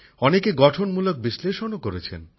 অনেকে গঠনমূলক বিশ্লেষণও করেছেন